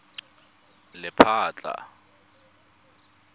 lephatla